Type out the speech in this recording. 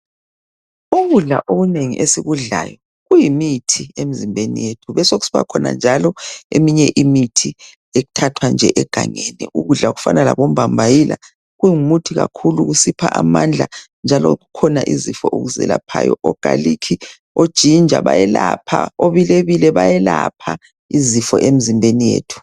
ukudla okunengi esikudlayo kuyimithi emzimbeni yethu kubesekusiba khona njalo eminye imithi ethathwa nje egangeni ukudla okufana labo mbambayila kungumuthi kakhulu kusipha amandla njalo kukhona izifo okuzelaphayo o garlic o ginger bayelapha obilebile bayelapha izifo emzimbeni yethu